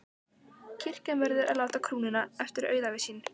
Kirkjan verður að láta krúnunni eftir auðæfi sín.